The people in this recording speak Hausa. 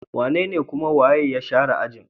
Wanene kuma waye ya share ajin?